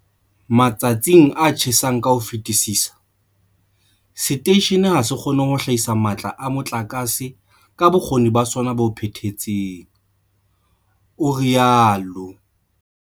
Matsatsing a tjhesang ka ho fetisisa, seteishene ha se kgone ho hlahisa matla a motlakase ka bokgoni ba sona bo phethahetseng, o itsalo.